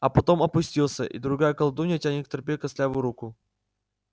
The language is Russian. а потом опустился и другая колдунья тянет к тропе костлявую руку